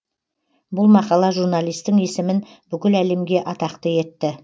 бұл мақала журналистің есімін бүкіл әлемге атақты етті